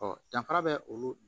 danfara bɛ olu